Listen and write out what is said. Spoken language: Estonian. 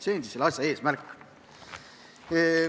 See on selle asja eesmärk.